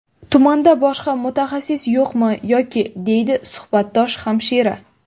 Tumanda boshqa mutaxassis yo‘qmi yoki?”, deydi suhbatdosh hamshira.